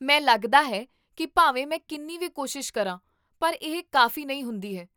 ਮੈਂ ਲੱਗਦਾ ਹੈ ਕੀ ਭਾਵੇਂ ਮੈਂ ਕਿੰਨੀ ਵੀ ਕੋਸ਼ਿਸ਼ ਕਰਾਂ ਪਰ ਇਹ ਕਾਫ਼ੀ ਨਹੀਂ ਹੁੰਦੀ ਹੈ